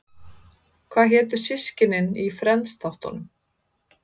Hvað hétu systkinin í Friends-þáttunum?